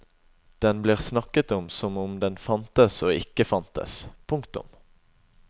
Den blir snakket om som om den fantes og ikke fantes. punktum